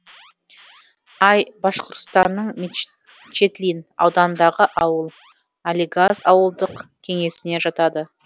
ай башқұртстанның мечетлин ауданындағы ауыл алегаз ауылдық кеңесіне жатады